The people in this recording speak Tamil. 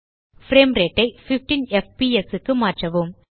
பிரேம் ரேட் ஐ 15 எஃப்பிஎஸ் க்கு மாற்றவும்